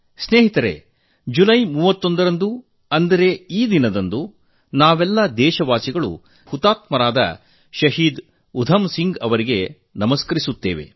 ಮಿತ್ರರೇ ಜುಲೈ 31 ರಂದು ಅಂದರೆ ಈ ಇಂದು ನಾವೆಲ್ಲ ದೇಶವಾಸಿಗಳು ಹುತಾತ್ಮ ಯೋಧ ಶಹೀದ್ ಉಧಂ ಸಿಂಗ್ ಅವರಿಗೆ ನಮಿಸುತ್ತೇವೆ